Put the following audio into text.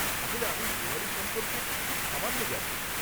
আসলে, আমি দেওয়ালি সম্পর্কে খুব সামান্য জানি।